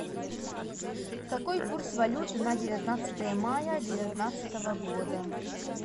какой курс валюты на девятнадцатое мая девятнадцатого года